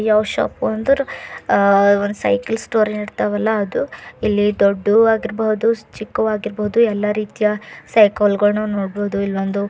ಯಾವ್ ಶಾಪ್ ಅಂದರ cycle store ಇರ್ತಾವಲ ಅದು ದೊಡ್ದು ಆಗಿರಬಹುದು ಚಿಕ್ಕು ಆಗಿರಬಹುದು ಎಲ್ಲ ರೀತಿಯ ಸೈಕಲ್ ಗೊಳ್ ನೋಡಬಹುದು ಇಲ್ ಒಂದು--